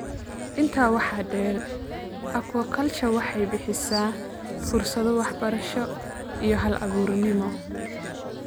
Intaa waxaa dheer, aquaculture waxay bixisaa fursado waxbarasho iyo hal-abuurnimo.